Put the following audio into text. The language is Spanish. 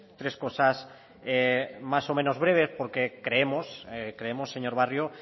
tres cosas más o menos breve porque creemos señor barrio